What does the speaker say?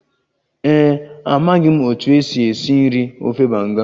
Ee e, amaghị m otú e si esi nri ofe banga